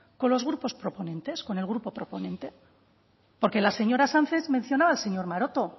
con los grupos proponentes con el grupo proponente porque las señora sánchez mencionaba al señor maroto